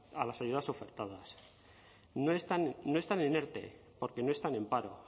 a las ayudas ofertadas no están en erte porque no están en paro